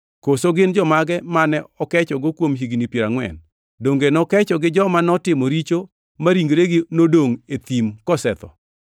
Koso gin jomage mane okechogo kuom higni piero angʼwen? Donge nokecho gi joma notimo richo ma ringregi nodongʼ e thim kosetho?